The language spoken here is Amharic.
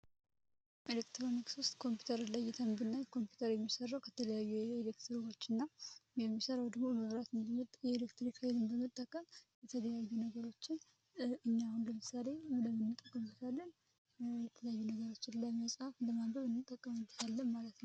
ኤሌክትሮኒክስ ዉስጥ ኮምፒዩተርን ለይተን ብናይ ኮምፒውተር የሚሰራዉ ከተለያዩ ኤሌክትሮኖች እና የሚሰራዉ ደግሞ መብራት የኤሌክትሪክ ኃይል በመጠቀም የተለያዩ ነገሮችን እኛ አሁን ለምሳሌ የተለያዩ ነገሮችን ለመፃፍ ለማንበብ እንጠቀምበታለን ማለት ነዉ።